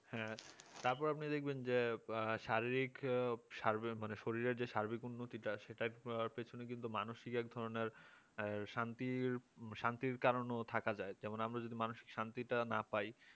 হ্যাঁ তারপর আপনি দেখবেন যে শারীরিক শরীরের যেই সার্বিক উন্নতিটা আছে সেটার পেছনে কিন্তু মানসিক এক ধরনের শান্তির শান্তির কারোনও থাকা যায় যেমন আমরা যদি মানসিক শান্তিটা না পাই